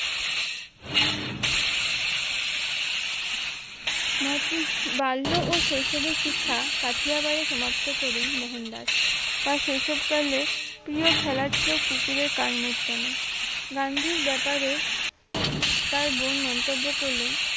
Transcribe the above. মহত্ম বাল্য ও শৈশবের শিক্ষা কাঠিয়াগারে সমাপ্ত করেন মোহনদাস তার শৈশবকালে প্রিয় খেলা ছিল কুকুরের কান মোছড়ানো গান্ধীর ব্যাপারে তার বোন মন্তব্য করলেন